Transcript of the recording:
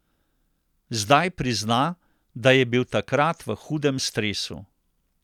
Zdaj prizna, da je bil takrat v hudem stresu.